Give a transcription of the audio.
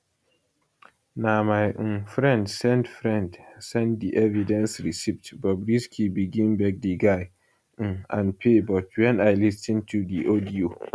na my um friend send friend send di evidence receipt bobrisky begin beg di guy um and pay but wen i lis ten to di audio